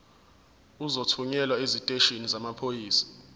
uzothunyelwa esiteshini samaphoyisa